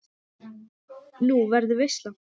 Nú, verður veisla?